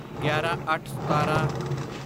ਗਿਆਰਾਂਅੱਠਸਤਾਰਾਂ